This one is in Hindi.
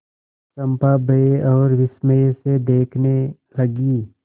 चंपा भय और विस्मय से देखने लगी